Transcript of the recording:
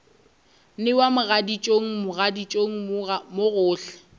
newa mogaditšong mogaditšong mo gohle